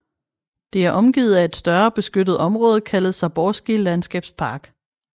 Det er omgivet af et større beskyttet område kaldet Zaborski Landskabspark